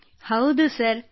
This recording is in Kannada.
ಕೃತ್ತಿಕಾ ಹೌದು ಸರ್